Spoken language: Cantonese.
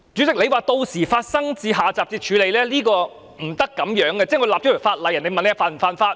主席說屆時發生到下集才處理，是不能這樣的，就像訂立法例，人們問這是否犯法？